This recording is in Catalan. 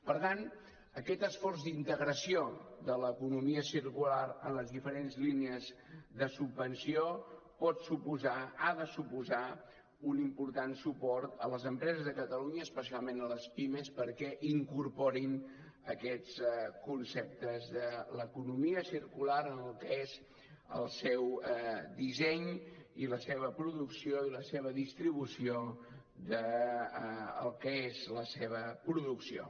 per tant aquest esforç d’integració de l’economia circular en les diferents línies de subvenció pot suposar ha de suposar un important suport a les empreses de catalunya especialment a les pimes perquè incorporin aquests conceptes de l’economia circular en el que és el seu disseny i la seva producció i la seva distribució del que és la seva producció